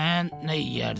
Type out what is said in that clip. Mən nə yeyərdim?